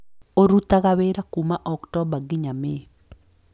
Ũrutaga wĩra kuuma Oktomba nginya Mĩĩ.